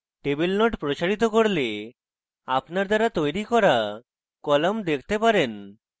table node প্রসারিত করলে আপনার দ্বারা তৈরী করা কলাম দেখতে পারেন